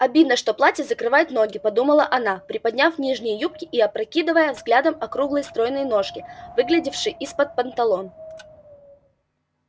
обидно что платье закрывает ноги подумала она приподняв нижние юбки и опракидывая взглядом округлые стройные ножки выглядевшие из-под панталон